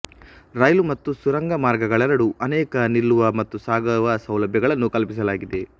ರೈಲು ಮತ್ತು ಸುರಂಗಮಾರ್ಗಗಳೆರಡೂ ಅನೇಕ ನಿಲ್ಲುವ ಮತ್ತು ಸಾಗುವ ಸೌಲಭ್ಯಗಳನ್ನು ಕಲ್ಪಿಸಲಾಗಿದೆ